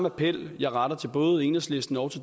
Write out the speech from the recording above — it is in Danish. appel jeg retter til både enhedslisten og